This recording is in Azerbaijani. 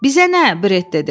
Bizə nə, Bret dedi.